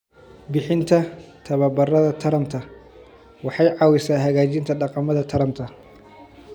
Bixinta tababarada taranta waxay caawisaa hagaajinta dhaqamada taranta.